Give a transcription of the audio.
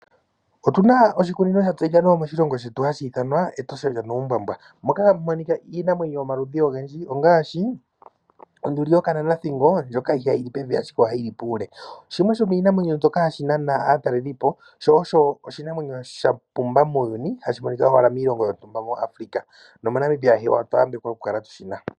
Otu na oshikunino sha tseyika moshilongo shetu hashithanwa Etosha lyanuumbabwa moka hamu monika iinamwenyo yomaludhi ogendji ngaashi onduli yokananathingo ndjoka ihayili pevi ashike ohayili pule shimwe shomiinamwenyo mbyoka hashi nana aatalelipo shosho oshinamwenyo shapumba muuyuni hashi monika owala miilongo yontumba mo Africa noo moNamibia hewa otwambekwa okukala tu shina.